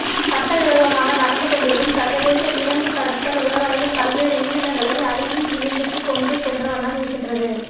சட்டவிரோதமாக நடந்துகொண்டிருக்கும் சர்வதேச விலங்குக் கடத்தல் உலகளவில் பல்வேறு உயிரினங்களை அழிவின் விளிம்புக்குக் கொண்டு சென்றவண்ணம் இருக்கின்றது